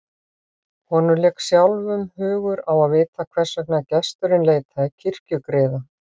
Honum lék sjálfum hugur á að vita hvers vegna gesturinn leitaði kirkjugriða.